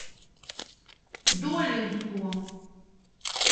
долинску